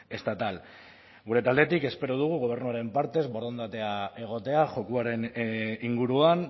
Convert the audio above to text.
estatal gure taldetik espero dugu gobernuaren partez borondatea egotea jokoaren inguruan